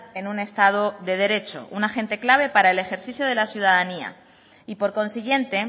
en un estado de derecho un agente clave para el ejercicio de la ciudadanía y por consiguiente